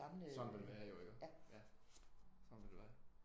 Sådan vil det jo være jo iggås? Sådan vil det være